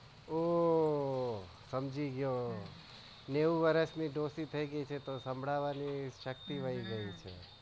ઓહ્હ હમજી ગયો નેવું વરસ ની દોશી ટાઇગયી છે તો સાંભળવાની શક્તિ વહી ગઈ છે.